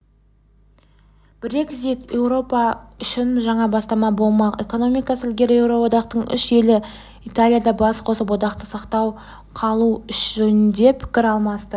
брекзит еуропа үшін жаңа бастама болмақ экономикасы ілгері еуроодақтың үш елі италияда бас қосып одақты сақтап қалу жөнінде пікір алмасты